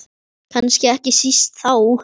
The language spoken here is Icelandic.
Kannski ekki síst þá.